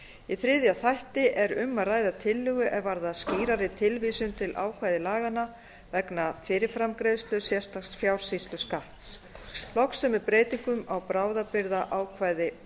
í þriðja þætti er um að ræða tillögu er varðar skýrari tilvísun til ákvæða laganna vegna fyrirframgreiðslu sérstaks fjársýsluskatts loks er með breytingum á bráðabirgðaákvæði